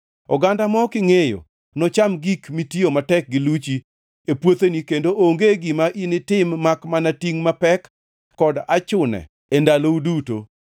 Oganda ma ok ingʼeyo nocham gik mitiyo matek gi luchi e puotheni kendo onge gima initim makmana tingʼ mapek kod achune e ndalou duto.